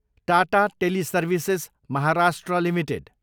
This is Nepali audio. Tata teleservices, Maharashtra, limited